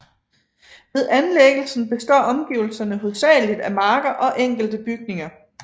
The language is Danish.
Ved anlæggelsen består omgivelserne hovedsageligt af marker og enkelte bygninger